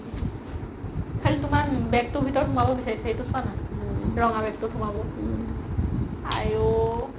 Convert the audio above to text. খালি তুমাৰ bag তোৰ ভিতৰত সোমাব বিচাৰিছে সেইটো চোৱা না ৰঙা bag তোত সুমাব আইও